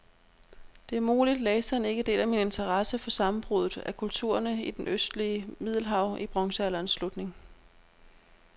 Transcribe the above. Det er muligt, læseren ikke deler min interesse for sammenbruddet af kulturerne i det østlige middelhav i bronzealderens slutning.